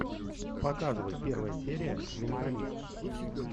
показывай первая серия менталист